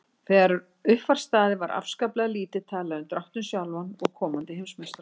Þegar upp var staðið var afskaplega lítið talað um dráttinn sjálfan og komandi heimsmeistaramót.